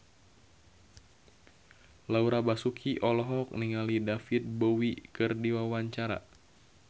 Laura Basuki olohok ningali David Bowie keur diwawancara